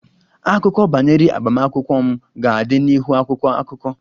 Akụkọ banyere agbamakwụkwọ m ga-adị n'ihu akwụkwọ akụkọ